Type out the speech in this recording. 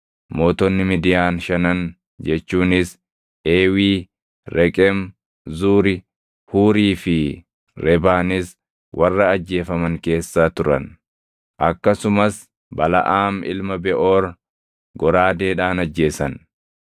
Mootonni Midiyaan shanan jechuunis Eewii, Reqem, Zuuri, Huurii fi Rebaanis warra ajjeefaman keessa turan. Akkasumas Balaʼaam ilma Beʼoor goraadeedhaan ajjeesan.